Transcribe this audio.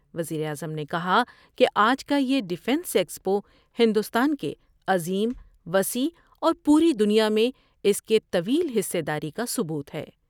وزیراعظم نے کہا کہ آج کا یہ ڈفینس ایکسپو ہندوستان کے عظیم ، وسیع اور پوری دنیا میں اس کے طویل حصہ داری کا ثبوت ہے ۔